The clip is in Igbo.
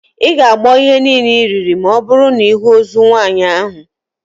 Ị ga-agbọ ihe niile iriri ma ọbụrụ na ịhụ ozu nwaanyị ahụ